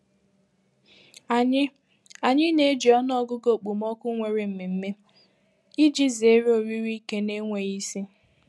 Anyị Anyị na-eji ọnụọgụgụ okpomọkụ nwere mmemme iji zere oriri ike na-enweghị isi.